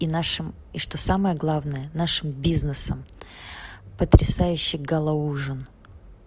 и нашим и что самое главное нашим бизнесом потрясающий гала ужин